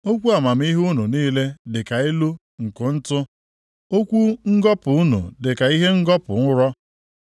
Okwu amamihe unu niile dịka ilu nke ntụ; okwu ngọpụ unu dịka ihe ngọpụ ụrọ.